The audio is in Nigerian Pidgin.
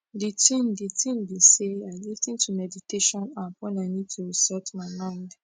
d tin d tin be say i lis ten to meditation app wen i need to reset my mind